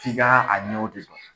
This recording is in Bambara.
F'i ka a ɲɛw de dɔn.